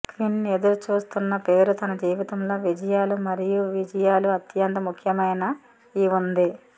queen ఎదురుచూస్తున్న పేరు తన జీవితంలో విజయాలు మరియు విజయాలు అత్యంత ముఖ్యమైన ఈ ఉంది